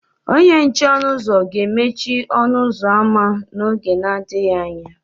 Onye nche ọnụ ụzọ ga-emechi ọnụ ụzọ ámá n'oge adịghị anya.